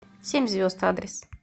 семь звезд адрес